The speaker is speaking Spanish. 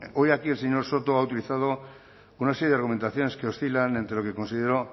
hoy aquí el señor soto ha utilizado una serie de argumentaciones que oscilan entre lo que considero